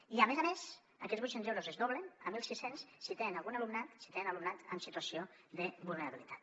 i a més a més aquests vuit cents euros es doblen a mil sis cents si tenen alumnat en situació de vulnerabilitat